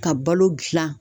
Ka balo gilan